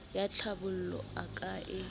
ya tlhabollo o ka e